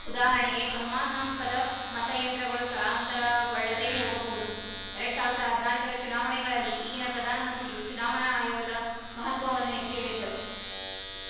ಉದಾಹರಣೆಗೆ ಅನುಮಾನಾಸ್ಪದ ಮತಯಂತ್ರಗಳು ಸ್ಥಳಾಂತರಗೊಳ್ಳದೆ ಹೋಗಬಹುದು ಎರಡ್ಸಾವಿರದ ಹದಿನಾಲ್ಕರ ಚುನಾವಣೆಗಳಲ್ಲಿ ಈಗಿನ ಪ್ರಧಾನಮಂತ್ರಿಯು ಚುನಾವಣಾ ಆಯೋಗದ ಮಹತ್ವವನ್ನು ಎತ್ತಿ ಹೇಳಿದ್ದರು